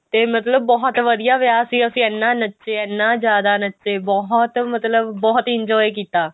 ਤੇ ਮਤਲਬ ਬਹੁਤ ਵਧੀਆ ਵਿਆਹ ਸੀ ਅਸੀਂ ਇੰਨਾ ਨੱਚੇ ਇੰਨਾ ਜਿਆਦਾ ਨੱਚੇ ਬਹੁਤ ਮਤਲਬ ਬਹੁਤ enjoy ਕੀਤਾ